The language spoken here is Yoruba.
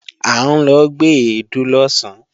À ń lọ gbé èédú lọ̀sán